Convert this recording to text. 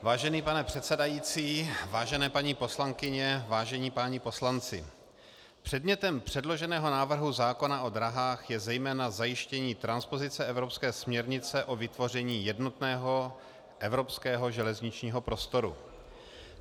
Vážený pane předsedající, vážené paní poslankyně, vážení páni poslanci, předmětem předloženého návrhu zákona o dráhách je zejména zajištění transpozice evropské směrnice o vytvoření jednotného evropského železničního prostoru.